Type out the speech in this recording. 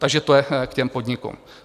Takže to je k těm podnikům.